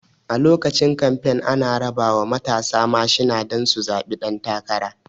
A lokacin kamfen ana rabawa matasa mashina don su zaɓi ɗan takara